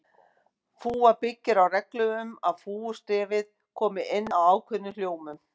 Fúga byggir á reglum um að fúgustefið komi inn á ákveðnum hljómum.